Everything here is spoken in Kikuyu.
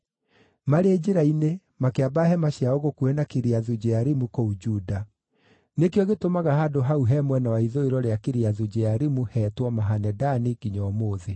Marĩ njĩra-inĩ, makĩamba hema ciao gũkuhĩ na Kiriathu-Jearimu kũu Juda. Nĩkĩo gĩtũmaga handũ hau he mwena wa ithũĩro rĩa Kiriathu-Jearimu heetwo Mahane-Dani nginya ũmũthĩ.